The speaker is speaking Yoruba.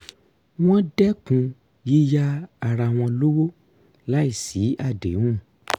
wọ́n dẹ́kun yíyá ara wọn lówó láì sí àdéhùn